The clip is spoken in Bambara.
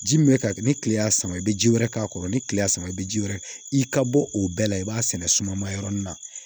Ji min bɛ ka kɛ ni kile y'a sama i bɛ ji wɛrɛ k'a kɔrɔ ni kileya sama i bɛ ji wɛrɛ i ka bɔ o bɛɛ la i b'a sɛnɛ suma ma yɔrɔnin na